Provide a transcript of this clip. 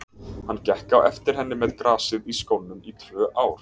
Hann gekk á eftir henni með grasið í skónum í tvö ár.